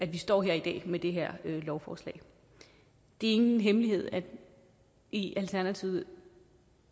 vi står her i dag med det her lovforslag det er ingen hemmelighed at i alternativet